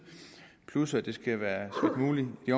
plus at det skal være muligt i